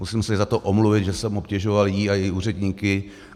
Musím se za to omluvit, že jsem obtěžoval ji a její úředníky.